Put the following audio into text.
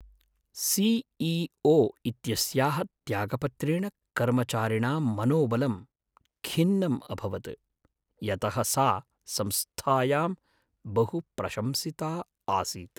CEO. इत्यस्याः त्यागपत्रेण कर्मचारिणां मनोबलं खिन्नम् अभवत्, यतः सा संस्थायां बहु प्रशंसिता आसीत्।